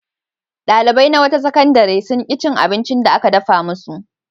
Ɗalibai na wata sakandare sun ƙi cin abincin da aka dafa musu.